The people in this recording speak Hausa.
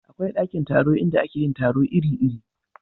akwai ɗakin taro inda ake yin taro iri iri